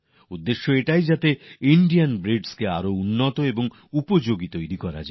উদ্দেশ্য হল ভারতীয় প্রজাতিকে কিভাবে আরও দক্ষ বানানো যায় আরও উপযোগী করে তোলা যায়